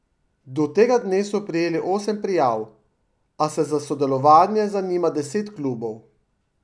Do tega dne so prejeli osem prijav, a se za sodelovanje zanima deset klubov.